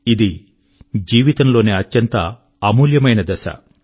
ఇది జీవితం లోని అత్యంత అమూల్య దశ